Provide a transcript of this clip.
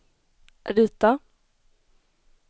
rita